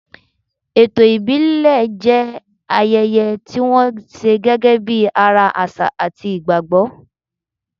Ètò ìbílẹ̀ jẹ́ ayẹyẹ tí wọ́n ṣe gẹ́gẹ́ bí ara àṣà àti ìgbàgbọ́.